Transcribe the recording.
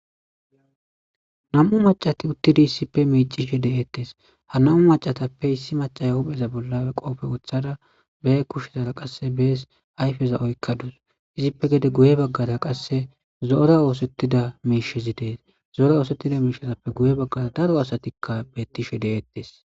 Na'amu macati uttidi isssippe miiccishe de'ettes. Ha na'amu macatappe issi machay huphpheza bolla qoobe wutsida, ba kushe bollara qassi bas ayfe za'oyka issippe guye baggara qassi zo'ora oosettida mishizi de'es. Zo'ora oosettida mishizappe guye baggara daro asatikka bettishe de'ettes.